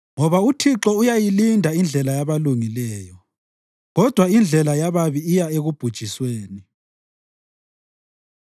Ngoba uThixo uyayilinda indlela yabalungileyo, kodwa indlela yababi iya ekubhujisweni.